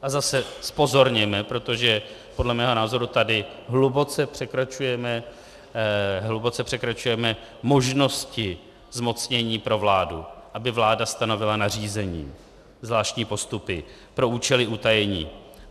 A zase zpozorněme, protože podle mého názoru tady hluboce překračujeme možnosti zmocnění pro vládu, aby vláda stanovila nařízení, zvláštní postupy pro účely utajení.